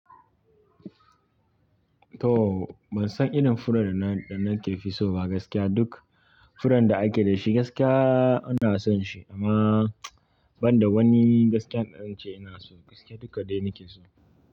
To, ban san irin furen da na, da nafi so ba gaskiya. Duk furen da ake da shi gaskiya ina son shi amma ban da wani gaskiya da zan ce ina so, gaskiya duka dai nake so.